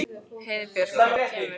Heiðbjörk, hvenær kemur þristurinn?